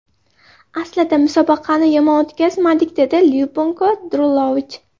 Aslida musobaqani yomon o‘tkazmadik”, dedi Lyubinko Drulovich.